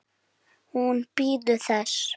Hún bíður þess.